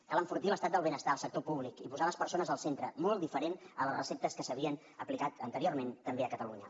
cal enfortir l’estat del benestar el sector públic i posar les persones al centre molt diferent a les receptes que s’havien aplicat anteriorment també a catalunya